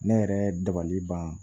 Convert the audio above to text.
Ne yɛrɛ dabali ban